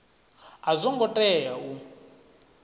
a zwo ngo tea u